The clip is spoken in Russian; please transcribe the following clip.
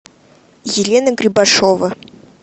елена грибашова